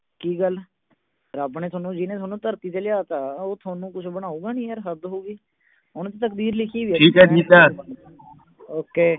ਕੀ ਗੱਲ। ਰੱਬ ਨੇ ਜਿਹਨੇ ਤੁਹਾਨੂੰ ਧਰਤੀ ਤੇ ਲਿਆ ਤਾਂ, ਉਹ ਤੁਹਾਨੂੰ ਕੁਛ ਬਨਾਉਗਾ ਨਹੀਂ, ਯਾਰ ਹੱਦ ਹੋ ਗਈ। ਹੁਣ ਤਕਦੀਰ ਲਿਖੀ ਹੋਈ ਆ। ok